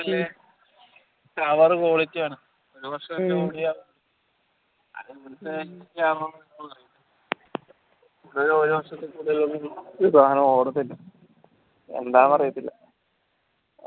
സാദാ qualilty ആണ് അത് ഇവിടത്തെ ആണോ അറിയത്തില്ല പുതിയ എന്താ അറിയത്തില്ല